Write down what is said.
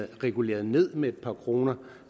reguleret ned med et par kroner